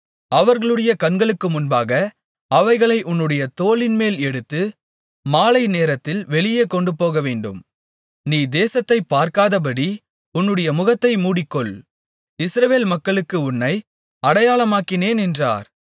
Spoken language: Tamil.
அவர்களுடைய கண்களுக்கு முன்பாக அவைகளை உன்னுடைய தோளின்மேல் எடுத்து மாலை நேரத்தில் வெளியே கொண்டுபோகவேண்டும் நீ தேசத்தைப் பார்க்காதபடி உன்னுடைய முகத்தை மூடிக்கொள் இஸ்ரவேல் மக்களுக்கு உன்னை அடையாளமாக்கினேன் என்றார்